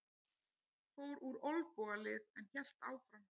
Fór úr olnbogalið en hélt áfram